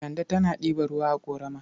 Kande tana ɗiba ruwa a ƙorama.